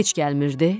Heç gəlmirdi.